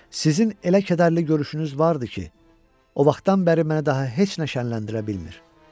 Sizin elə kədərli görüşünüz vardı ki, o vaxtdan bəri mənə daha heç nə şənləndirə bilmir.